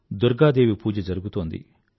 దుర్గాదేవి పూజ జరుగుతోంది